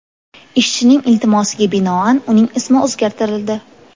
Ishchining iltimosiga binoan uning ismi o‘zgartirildi.